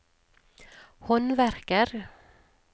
håndverker